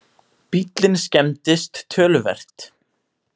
Bíllinn skemmdist töluvert